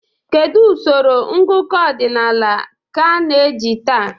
Kedu usoro ngụkọ ọdịnala ka na-eji taa?